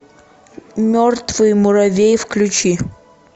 мертвый муравей включи